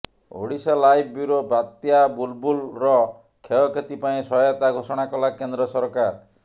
Odisha live bureau ବାତ୍ୟା ବୁଲ୍ବୁଲ୍ର କ୍ଷୟକ୍ଷତି ପାଇଁ ସହାୟତା ଘୋଷଣା କଲା କେନ୍ଦ୍ର ସରକାର